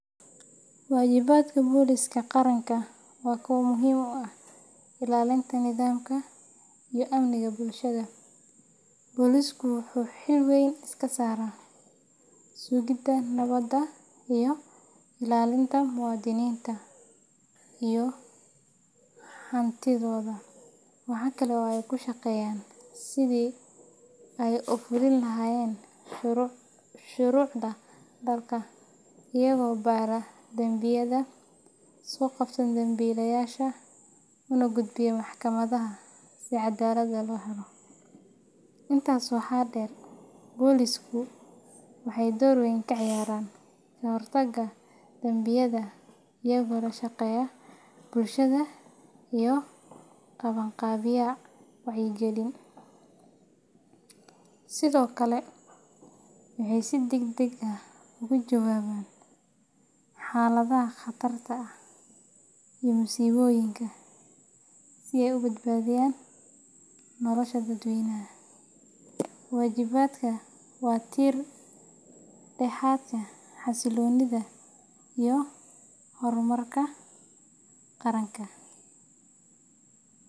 Waajibaadka Booliska Qaranka waa kuwo muhiim u ah ilaalinta nidaamka iyo amniga bulshada. Boolisku waxay xil weyn iska saaraan sugidda nabadda iyo ilaalinta muwaadiniinta iyo hantidooda. Waxa kale oo ay ku shaqeeyaan sidii ay u fulin lahaayeen shuruucda dalka, iyagoo baara dambiyada, soo qabta dembiilayaasha, una gudbiya maxkamadaha si caddaalad loo helo. Intaas waxaa dheer, boolisku waxay door weyn ka ciyaaraan ka hortagga dambiyada iyagoo la shaqeeya bulshada iyo qabanqaabiya wacyigelin. Sidoo kale, waxay si degdeg ah uga jawaabaan xaaladaha khatarta ah iyo musiibooyinka si ay u badbaadiyaan nolosha dadweynaha. Waajibaadkani waa tiir-dhexaadka xasilloonida iyo horumarka qaranka.